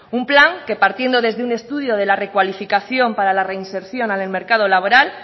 un plan que partiendo desde un estudio de la recualificación para la reinserción en el mercado laboral